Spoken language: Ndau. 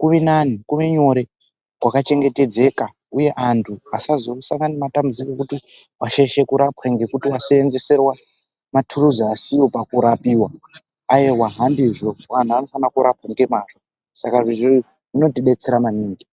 kuve nani kuve nyore kwakachengetedzeka uye antu asasangana nematanbudziko ekuti washaishwa kurapwa ngekuti waseenzeserwa maturuzi asiriwo pakurapiwa ayiwa antu anofana kurapwa ngemwawo saka zviro izvi zvinotibetsera maningi.